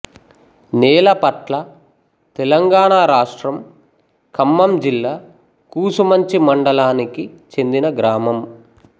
నేలపట్లతెలంగాణ రాష్ట్రం ఖమ్మం జిల్లా కూసుమంచి మండలానికి చెందిన గ్రామం